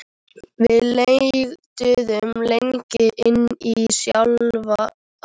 Við leituðum lengra inn í sjálf okkur.